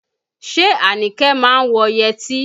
Ṣé Anike má wọ yẹtí?